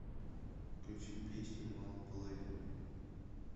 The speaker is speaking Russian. включи песню малополовин